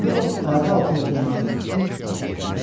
Elə bu vaxt ayağı altındakı nazik ip tarım çəkildi.